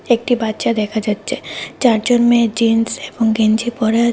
একটি বাচ্চা দেখা যাচ্ছে চারজন মেয়ে জিন্স এবং গেঞ্জি পরা --